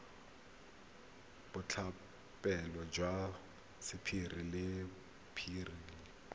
boitlhophelo jwa sapphire le beryl